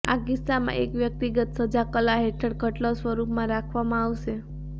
આ કિસ્સામાં એક વ્યક્તિગત સજા કલા હેઠળ ખટલો સ્વરૂપમાં રાખવામાં આવશે